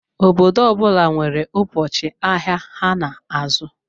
Obodo ọbula nwèrè ụbọchị ahịa ha n'azụ.